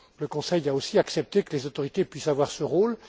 Le Conseil a aussi accepté que les autorités puissent avoir ce rôle.